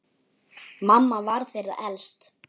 Mamma var þeirra elst.